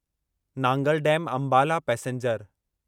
Nangal dam Ambala passenger